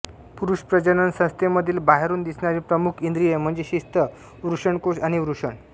पुरुष प्रजजन संस्थेमधील बाहेरून दिसणारी प्रमुख इंद्रिये म्हणजे शिस्न वृषणकोश आणि वृषण